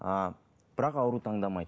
ыыы бірақ ауру таңдамайды